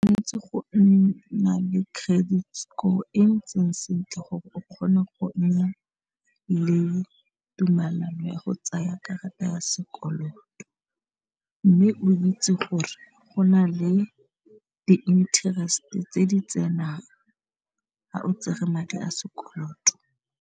Go nna le credit score e ntseng sentle gore o kgone go nna le tumelano ya go tsaya karata ya sekoloto mme o itse gore go na le di -nterest tse di tsenang ga o tsere madi a sekoloto.